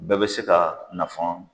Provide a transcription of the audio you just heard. Bɛɛ bɛ se ka nafan